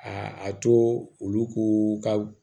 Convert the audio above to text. A a to olu ka